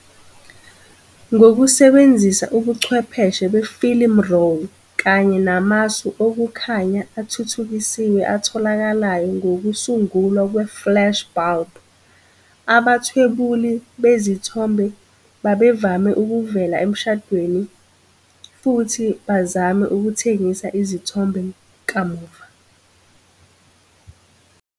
Ngokusebenzisa ubuchwepheshe be-film roll kanye namasu okukhanya athuthukisiwe atholakalayo ngokusungulwa kwe-flash bulb, abathwebuli bezithombe babevame ukuvela emshadweni futhi bazame ukuthengisa izithombe kamuva.